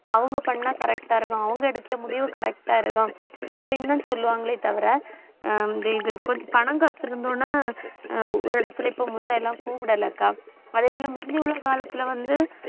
அவங்க பண்ணா correct ஆ இருக்கும். அவங்க எடுக்கற முடிவு correct ஆ இருக்கும் அப்படின்னுதான் சொல்லுவாங்களே தவிர அஹ் இது பணம் காசு இருந்த உடனே அஹ் ஒரு இடத்துல இப்ப முன்ன எல்லாம் கூப்பிடலக்கா. அதே போல, முந்தி உள்ள காலத்துல வந்து